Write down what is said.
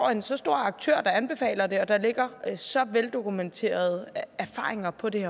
er en så stor aktør der anbefaler det og der ligger så veldokumenterede erfaringer på det